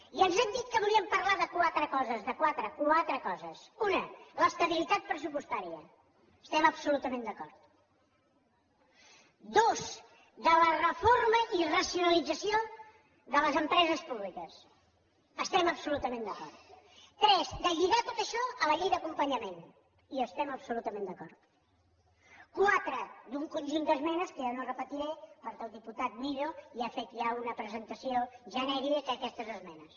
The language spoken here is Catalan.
i ens han dit que volien parlar de quatre coses de quatre quatre coses una de l’estabilitat pressupostària hi estem absolutament d’acord dos de la reforma i racionalització de les empreses públiques hi estem absolutament d’acord tres de lligar tot això a la llei d’acompanyament hi estem absolutament d’acord quatre d’un conjunt d’esmenes que jo no repetiré perquè el diputat millo ha fet ja una presentació genèrica d’aquestes esmenes